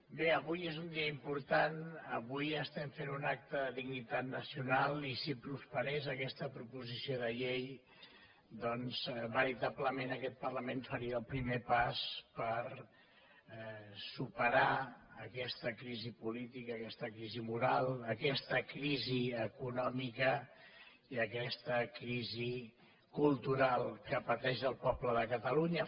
bé avui és un dia important avui estem fent un acte de dignitat nacional i si prosperés aquesta proposició de llei doncs veritablement aquest parlament faria el primer pas per superar aquesta crisi política aquesta crisi moral aquesta crisi econòmica i aquesta crisi cultural que pateix el poble de catalunya